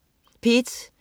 P1: